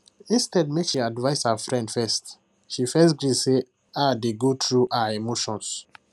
instead make she advice her friend first she first gree say her dey go through her emotions